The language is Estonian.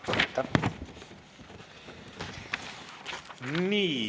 Aitäh!